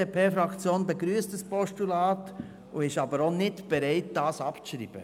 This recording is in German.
Die BDP-Fraktion begrüsst dieses Postulat und ist auch nicht bereit, es abzuschreiben.